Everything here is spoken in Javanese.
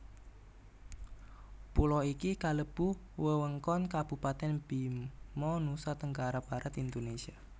Pulo iki kalebu wewengkon Kabupatèn Bima Nusa Tenggara Barat Indonesia